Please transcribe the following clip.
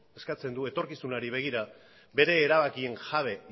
eskatzen du etorkizunari begira bere erabakien jabe